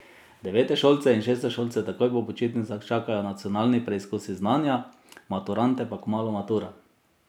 Devetošolce in šestošolce takoj po počitnicah čakajo nacionalni preizkusi znanja, maturante pa kmalu matura.